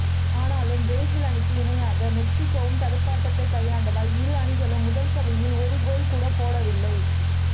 ஆனாலும் பிரேசில் அணிக்கு இணையாக மெக்சிகோவும் தடுப்பாட்டத்தை கையாண்டதால் இரு அணிகளும் முதல் பாதியில் ஒரு கோல் கூட போடவில்லை